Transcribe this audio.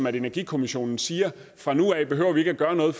at energikommissionen siger fra nu af behøver vi ikke gøre noget